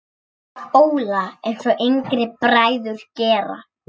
Óla, einsog yngri bræður gera.